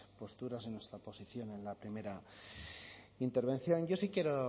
posturas y nuestra posición en la primera intervención yo sí quiero